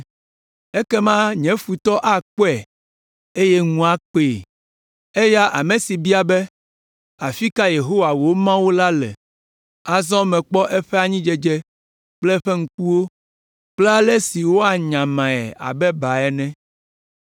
Ekema nye futɔ akpɔe eye ŋu akpee. Eya ame si bia be, “Afi ka Yehowa wò Mawu la le?” Azɔ mekpɔ eƒe anyidzedze kple nye ŋkuwo kple ale si woanyamae abe ba ene.